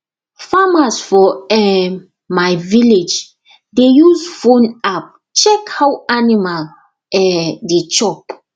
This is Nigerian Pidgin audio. farmers for um my village dey use phone app check how animal um dey chop